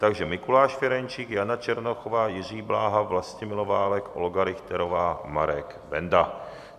Takže Mikuláš Ferjenčík, Jana Černochová, Jiří Bláha, Vlastimil Válek, Olga Richterová, Marek Benda.